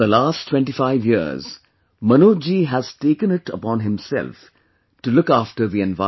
For the last 25 years, Manoj ji has taken it upon himself to look after the environment